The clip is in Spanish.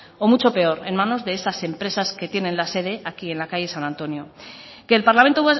o mucho peor en manos de esas empresas que tienen la sede aquí en la calle san antonio que el parlamento